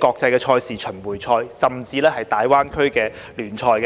國際賽事、巡迴賽，甚至大灣區聯賽。